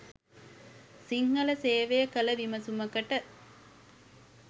සිංහල සේවය කළ විමසුමකට